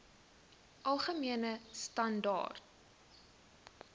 algemene standaar